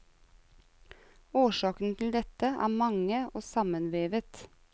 Årsakene til dette er mange og sammenvevet.